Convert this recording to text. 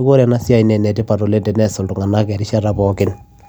neekuu enetipat enea siai